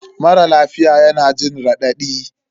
Mara lafiya yana jin raɗadi